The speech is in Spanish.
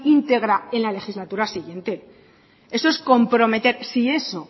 íntegra en la legislatura siguiente eso es comprometer si eso